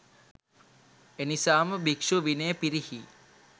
එනිසාම භික්ෂු විනය පිරිහී